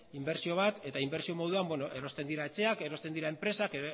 inbertsio bat eta inbertsio moduan erosten dira etxeak erosten dira enpresak